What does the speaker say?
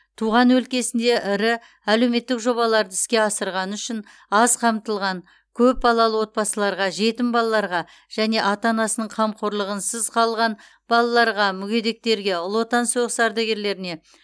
туған өлкесінде ірі әлеуметтік жобаларды іске асырғаны үшін аз қамтылған көп балалы отбасыларға жетім балаларға және ата анасының қамқорлығынсыз қалған балаларға мүгедектерге ұлы отан соғыс ардагерлеріне